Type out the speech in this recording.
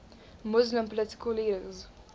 muslim political leaders